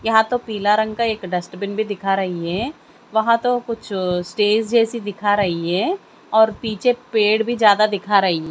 यहां तो पीला रंग का एक डस्टबिन भी दिखा रही है वहां तो कुछ स्टेज जैसी दिखा रही है और पीछे पेड़ भी ज्यादा दिखा रही --